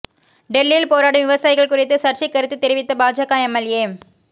டெல்லியில் போராடும் விவசாயிகள் குறித்து சர்ச்சைக் கருத்து தெரிவித்த பாஜக எம்எல்ஏ